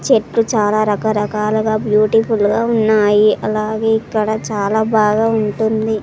చెట్లు చాలా రకరకాలగా బ్యూటిఫుల్ గా ఉన్నాయి అలాగే ఇక్కడ చాలా బాగా ఉంటుంది.